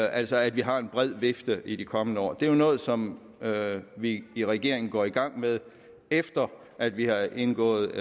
altså at vi har en bred vifte i de kommende år det er noget som vi i regeringen går i gang med efter at vi har indgået